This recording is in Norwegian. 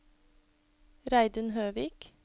Reidun Høvik